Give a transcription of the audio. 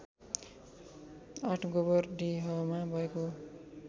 ८ गोबरडिहामा भएको हो